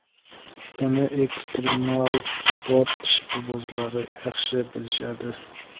Buni ekstremal sport ishqibozlari yaxshi bilishadi.